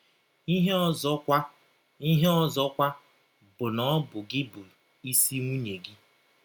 Ihe ọzọkwa Ihe ọzọkwa bụ na ọ bụ gị bụ isi nwụnye gị.